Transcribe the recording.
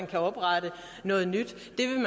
kan oprettes noget nyt